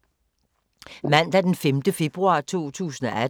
Mandag d. 5. februar 2018